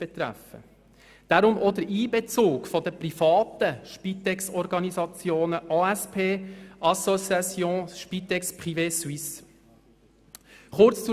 Deshalb auch der Einbezug der privaten Spitexorganisationen, der Association Spitex privée Suisse (ASPS).